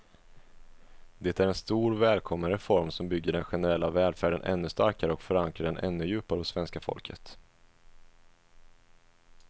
Det är en stor, välkommen reform som bygger den generella välfärden ännu starkare och förankrar den ännu djupare hos svenska folket.